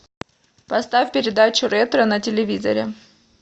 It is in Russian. поставь передачу ретро на телевизоре